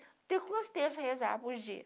Têm quantos terço para rezar por dia.